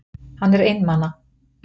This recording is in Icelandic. Hann er einmana.